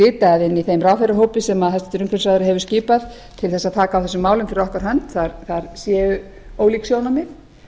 vita að inni í þeim ráðherrahópi sem hæstvirtur umhverfisráðherra hefur skipað til þess að taka á þessum málum fyrir okkar hönd séu ólík sjónarmið